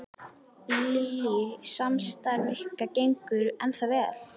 Lillý: Samstarf ykkar gengur ennþá vel?